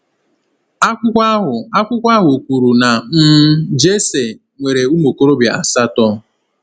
Akwụkwọ ahụ Akwụkwọ ahụ kwuru na um Jesse “nwere ụmụ okorobịa asatọ.”